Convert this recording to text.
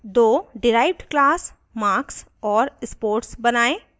* दो derived classes marks और sports बनायें